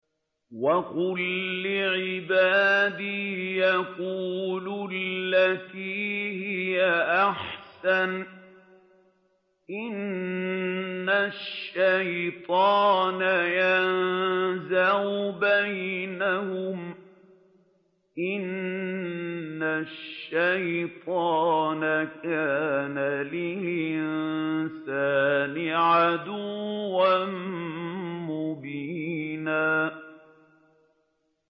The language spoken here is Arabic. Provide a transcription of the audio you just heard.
وَقُل لِّعِبَادِي يَقُولُوا الَّتِي هِيَ أَحْسَنُ ۚ إِنَّ الشَّيْطَانَ يَنزَغُ بَيْنَهُمْ ۚ إِنَّ الشَّيْطَانَ كَانَ لِلْإِنسَانِ عَدُوًّا مُّبِينًا